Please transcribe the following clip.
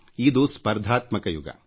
ಇದು ಸ್ಪರ್ಧಾತ್ಮಕ ಯುಗ